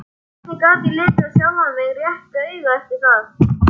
Hvernig gat ég litið sjálfan mig réttu auga eftir það?